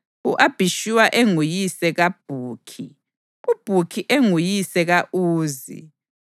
u-Abhishuwa enguyise kaBhukhi, uBhukhi enguyise ka-Uzi,